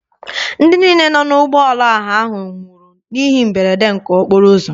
Ndị niile nọ n'ụgbọala ọha ahụ nwụrụ n'ihe mberede nke okporo ụzọ.